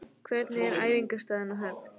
Hvernig er æfingaaðstaðan á Höfn?